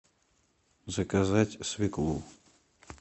заказать свеклу